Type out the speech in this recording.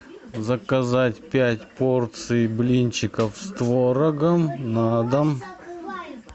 заказать пять порций блинчиков с творогом на дом